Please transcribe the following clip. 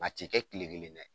A ti kɛ kile kelen dɛ.